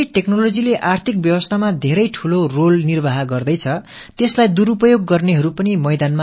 எப்படி தொழில்நுட்பம் பொருளாதார அமைப்பில் மிகப் பெரிய பங்காற்றுகிறதோ அதன் தவறான பயன்பாடும் பெருகி வருகிறது